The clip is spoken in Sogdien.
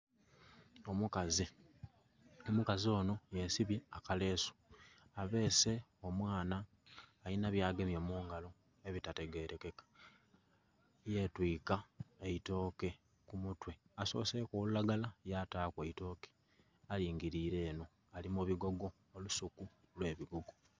Omukazi, omukazi ono yesibye akalesu abeese omwana alina byagemye mungalo ebitategerekeka yetwika eitooke kumutwe asoseku olulagala yataku eitooke aligirire eno ali mubigogo olusuku olwebigogo.